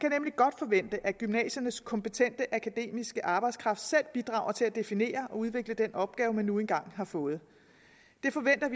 kan nemlig godt forvente at gymnasiernes kompetente akademiske arbejdskraft selv bidrager til at definere og udvikle den opgave man nu engang har fået